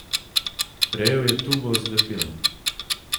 Prijel je tubo z lepilom.